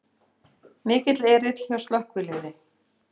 Mikill erill hjá slökkviliði